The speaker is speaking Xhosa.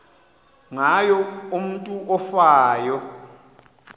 ngayo umutu ofayo